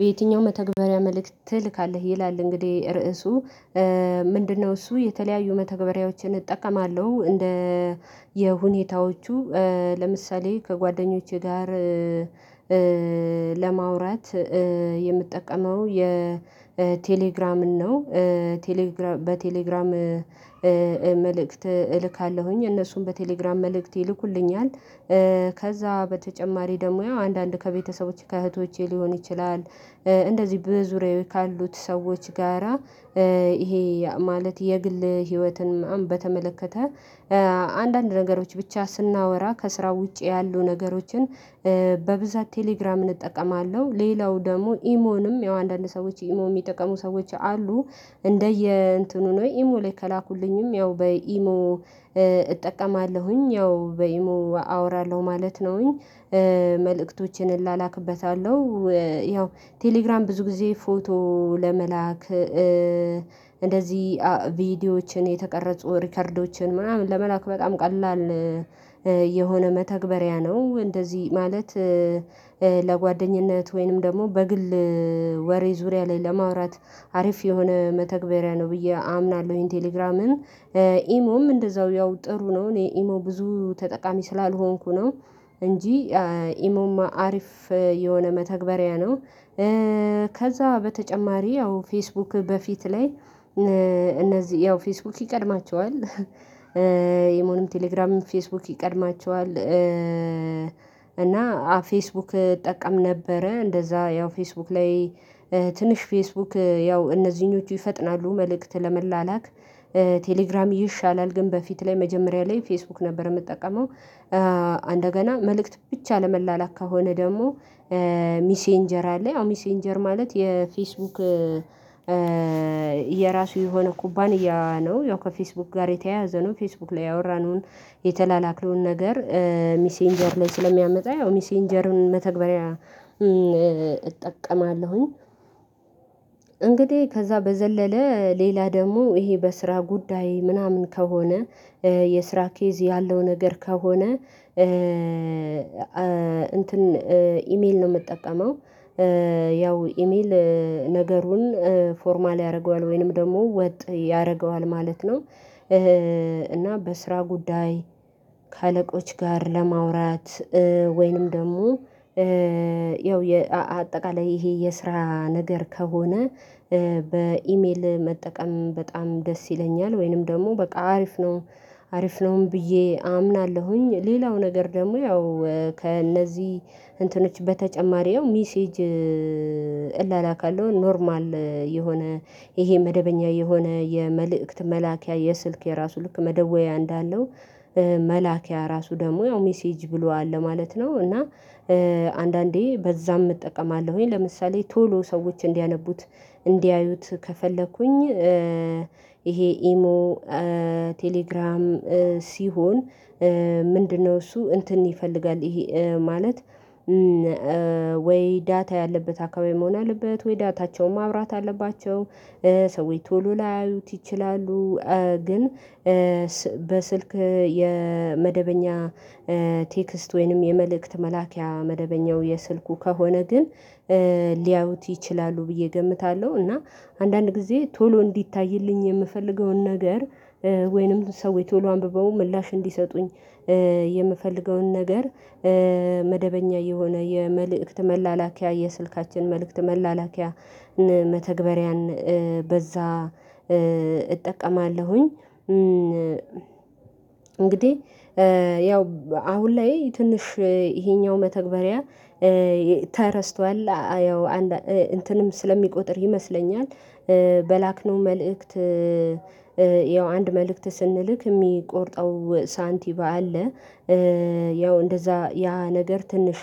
በየትኛው መተግበሪያ መልእክት ትልካለህ? ይላል እንግዲህ ርዕሱ። ምንድነው እሱ የተለያዩ መተግበሪያዎችን እጠቀማለሁ እንደ የ ሁኔታዎቹ። ለምሳሌ ከጓደኞቼ ጋር ለማውራት የምጠቀመው የቴሌግራምን ነው። ቴሌግራም በቴሌግራም መልእክት እልካለሁኝ። እነሱም በቴሌግራም መልእክት ይልኩልኛል። ከዛ በተጨማሪ ደግሞ ያው አንድአንዴ ከቤተሰቦቼ ከእህቶቼ ሊሆን ይችላል እንደዚህ በዙሪዬ ካሉት ሰዎች ጋራ ይሄ ማለት የግል ህይወትን ምናምን በተመለከተ አንድአንድ ነገሮች ብቻ ስናወራ ከስራ ውጪ ያሉ ነገሮችን በብዛት ቴሌግራምን እጠቀማለሁ። ሌላው ደግሞ ኢሞንም ያው አንድአንድ ሰዎች ኢሞ የሚጠቀሙ ሰዎች አሉ። እንደየ እንትኑ ነው። ኢሞ ላይ ከላኩልኝም ያው በኢሞ እጠቀማለሁኝ። ያው በኢሞ አወራለሁ ማለት ነውኝ። መልእክቶችን እላላክበታለሁ። ያው ቴሌግራም ብዙ ጊዜ ፎቶ ለመላክ እንደዚህ ቪዲዮዎችን የተቀረጹ ሪከርዶችን ምናምን ለመላክ በጣም ቀላል የሆነ መተግበሪያ ነው። እንደዚህ ማለት ለጓደኝነት ወይንም ደግሞ በግል ወሬ ዙሪያ ላይ ለማውራት አሪፍ የሆነ መተግበሪያ ነው ብዬ አምናለሁኝ። ቴሌግራምም ኢሞም እንደዛው ያው ጥሩ ነው እኔ ኢሞ ብዙ ተጠቃሚ ስላልሆንኩ ነው እንጂ ኢሞማ አሪፍ የሆነ መተግበሪያ ነው። ከዛ በተጨማሪ ያው ፌስቡክ በፊት ላይ እነዚህ ያው ፌስቡክ ይቀድማቸዋል። ኢሞንም ቴሌግራምንም ፌስቡክ ይቀድማቸዋል። እና ፌስቡክ እጠቀም ነበረ እንደዛ ያው ፌስቡክ ላይ ትንሽ ፌስቡክ ያው እነዚህኞቹ ይፈጥናሉ መልእክት ለመላላክ። ቴሌግራም ይሻላል ግን በፊት ላይ መጀመሪያ ላይ ፌስቡክ ነበር የምጠቀመው። እንደገና መልእክት ብቻ ለመላላክ ከሆነ ደግሞ ሚሴንጀር አለ። አዎ ሚሴንጀር ማለት የፌስቡክ የራሱ የሆነ ኩባንያ ነው ያው ከፌስቡክ ጋር የተያያዘ ነው ፌስቡክ ላይ ያወራነውን የተላላክነውን ነገር ሚሴንጀር ላይ ስለሚያመጣ ያው ሚሴንጀርን መተግበሪያ እጠቀማለሁኝ። እንግዲህ ከዛ በዘለለ ሌላ ደግሞ ይሄ በስራ ጉዳይ ምናምን ከሆነ የስራ ኬዝ ያለው ነገር ከሆነ እንትን ኢሜል ነው የምጠቀመው። ያው ኢሜል ነገሩን ፎርማል ያደርገዋል ወይንም ደግሞ ወጥ ያደርገዋል ማለት ነው። እና በስራ ጉዳይ ከአለቆች ጋር ለማውራት ወይንም ደግሞ ያው አጠቃላይ ይሄ የስራ ነገር ከሆነ በኢሜል መጠቀም በጣም ደስ ይለኛል፤ ወይንም ደግሞ በቃ አሪፍ ነው አሪፍ ነውም ብዬ አምናለሁኝ። ሌላው ነገር ደግሞ ያው ከእነዚህ እንትኖች በተጨማሪ ሚሴጅ እላላካለው ኖርማል የሆነ ይሄ መደበኛ የሆነ የመልእክት መላኪያ የስልክ የራሱ ልክ መደወያ እንዳለው መላኪያ ራሱ ደግሞ ያው 'ሜሴጅ' ብሎ አለ ማለት ነው። እና አንድአንዴ በዛም እጠቀማለሁኝ። ለምሳሌ ቶሎ ሰዎች እንዲያነቡት እንዲያዩት ከፈለኩኝ ይሄ ኢሞ ቴሌግራም ሲሆን ምንድነው እሱ እንትን ይፈልጋል ይሄ ማለት ወይ ዳታ ያለበት አካባቢ መሆን አለበት ወይ ዳታቸውን ማብራት አለባቸው። ሰዎች ቶሎ ላያዩት ይችላሉ። ግን በስልክ የመደበኛ ቴክስት ወይንም የመልእክት መላኪያ መደበኛው የስልኩ ከሆነ ግን ሊያውት ይችላሉ ብዬ እገምታለሁ። እና አንድአንድ ጊዜ ቶሎ እንዲታይልኝ የምፈልገውን ነገር ወይንም እነዚ ሰዎች ቶሎ አንብበው ምላሽ እንዲሰጡኝ የምፈልገውን ነገር መደበኛ የሆነ የመልእክት መላላኪያ የስልካችን መልእክት መላላኪያ መተግበሪያን በዛ እጠቀማለሁኝ። እንግዲህ ያው አሁን ላይ ትንሽ ይሄኛው መተግበሪያ ተረስቷል አየው እንትንም ስለሚቆጥር ይመስለኛል በላክነው መልእክት ያው አንድ መልእክት ስንልክ የሚቆርጠው ሳንቲም አለ። ያው እንደዛ ያ ነገር ትንሽ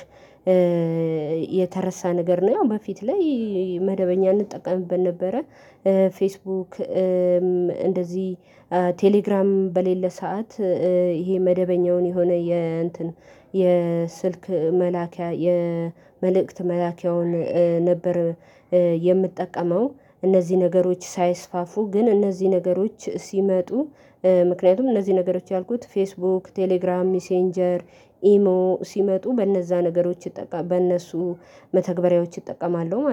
የተረሳ ነገር ነው። ያው በፊት ላይ መደበኛ እንጠቀምበት ነበረ። ፌስቡክ እንደዚህ ቴሌግራምም በሌለ ሰዓት ይሄ መደበኛውን የሆነ የእንትን የስልክ መላኪያ የመልእክት መላኪያውን ነበር የምጠቀመው። እነዚህ ነገሮች ሳይስፋፉ ግን እነዚህ ነገሮች ሲመጡ ምክንያቱም እነዚህ ነገሮች ያልኩት ፌስቡክ፣ ቴሌግራም፣ ሚሴንጀር፣ ኢሞ ሲመጡ በእነዛ ነገሮች እጠቀማ በእነሱ መተግበሪያዎች እጠቀማለሁ ማለት ነው።